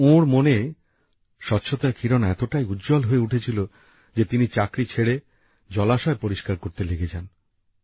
কিন্তু ওঁর মনে স্বচ্ছতার কিরণ এতটাই উজ্জ্বল হয়ে উঠেছিল যে তিনি চাকরি ছেড়ে জলাশয় পরিষ্কার করতে লেগে যান